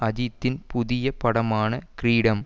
அஜித்தின் புதிய படமான கிரீடம்